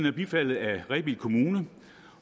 er bifaldet af rebild kommune